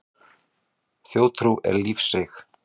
Þjóðtrú er lífseig.